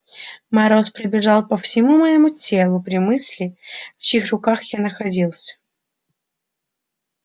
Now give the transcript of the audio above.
мороз пробежал по всему моему телу при мысли в чьих руках я находился